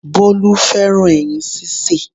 Bólú fẹ́ràn ẹyin sísè